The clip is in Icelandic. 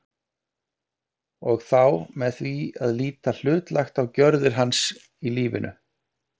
og þá með því að líta hlutlægt á gjörðir hans í lífinu.